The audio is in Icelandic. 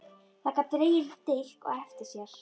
Það gat dregið dilk á eftir sér.